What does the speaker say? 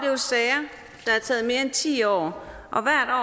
taget mere end ti år